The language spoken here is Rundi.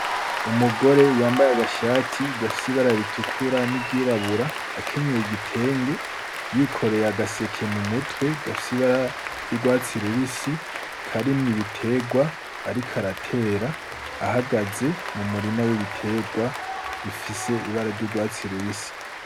Umugore yambaye agashati gafise ibara ritukura n'iryirabura, akenyeye igitenge, yikoreye agaseke mu mutwe gafise ibara ry'urwatsi rubisi karimwo ibiterwa ariko aratera, ahagaze mu murima w'ibiterwa bifise ibara ry'urwatsi rubisi.